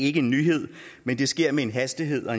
ikke en nyhed men det sker med en hastighed og